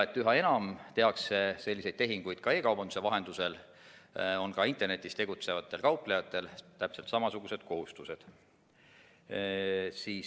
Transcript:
Et üha enam tehakse selliseid tehinguid e‑kaubanduse vahendusel, on ka internetis tegutsevatel kauplejatel täpselt samasugused kohustused.